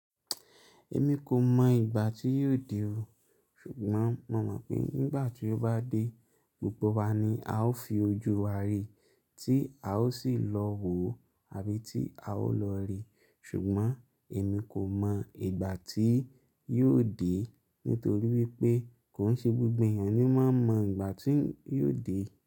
Èmi kò mọ ìgbà tí yóò dé o, ṣùgbọ́n mo mọ̀ pé nígbà tí ó bá dé, gbogbo wa ni a ó fi ojú wa rí i, tí a ó sì lọ wò ó àbí ti a ó lọ rí i. Ṣùgbọ́n èmi kò mọ ìgbà tí yóò dé nítorí wípé kò ń ṣe gbogbo èèyàn ni ó máa mọ ìgbà tí yóò dé.